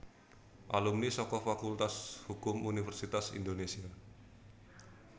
Alumni saka Fakultas Hukum Universitas Indonesia